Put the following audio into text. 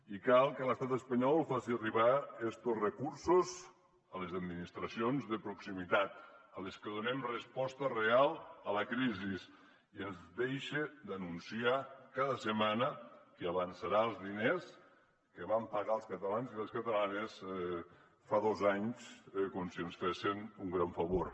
i cal que l’estat espanyol faci arribar estos recursos a les administracions de proximitat a les que donem resposta real a la crisi i ens deixe d’anunciar cada setmana que avançarà els diners que van pagar els catalans i les catalanes fa dos anys com si ens fessen un gran favor